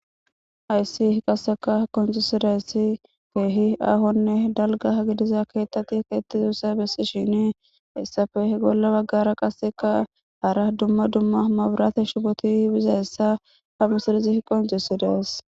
ayssi h qasseka konci sidayssi keehi ahonne dalga gidiza keettati keettizussa bessi shini issafeh golla baggara qasseka hara dumma dumma maburate shipoti biza hessa ha misirizi h qoncesides